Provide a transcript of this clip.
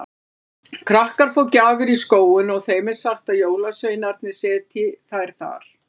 Krakkar fá gjafir í skóinn og þeim er sagt að jólasveinarnir setji þær þar.